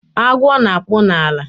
Agwo na-akpụ n'ala